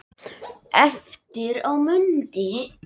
Eftir á mundi